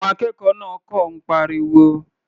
Àwọn akẹ́kọ̀ọ́ náà kọ̀ ń pariwo.